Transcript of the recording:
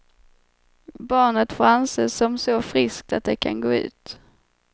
Barnet får anses som så friskt att det kan gå ut.